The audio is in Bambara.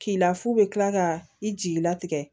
K'i lafu bɛ kila ka i jigila tigɛ